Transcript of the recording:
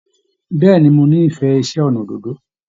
Bẹ̀ẹ́ni mo n'ifẹ iṣẹ ọnà òdòdó.